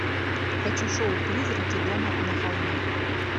хочу шоу призраки дома на холме